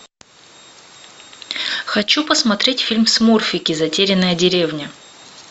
хочу посмотреть фильм смурфики затерянная деревня